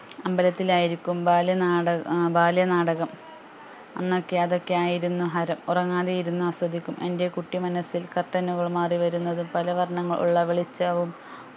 അമ്പലത്തിൽ ആയിരിക്കും ബാല്യനാട ഏർ ബാല്യനാടകം അന്ന് ഒക്കെ അത് ഒക്കെ ആയിരുന്നു ഹരം ഉറങ്ങാതെ ഇരുന്ന് ആസ്വദിക്കും എൻ്റെ കുട്ടി മനസ്സിൽ curtain നുകൾ മാറിവരുന്നത് പലവർണ്ണങ്ങൾ ഉള്ള വെളിച്ചവും